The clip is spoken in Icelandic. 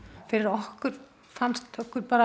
fyrir okkur þá fannst okkur bara